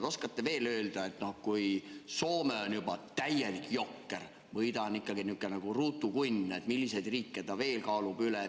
Oskate te öelda, et kui Soome on juba täielik jokker või nihukene ruutu kunn, siis milliseid riike ta veel kaalub üles?